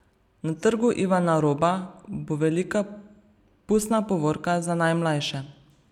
Na Trgu Ivana Roba bo velika pustna povorka za najmlajše.